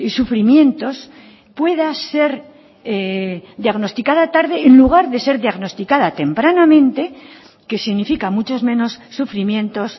sufrimientos pueda ser diagnosticada tarde en vez de ser diagnosticada tempranamente que significa muchos menos sufrimientos